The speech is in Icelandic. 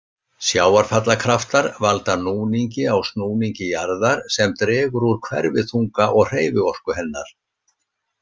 Sjávarfallakraftar valda núningi á snúningi jarðar sem dregur úr hverfiþunga og hreyfiorku hennar.